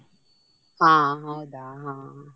ಹಾ ಹೌದಾ.